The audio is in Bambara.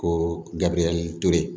Ko gabiriyɛri ture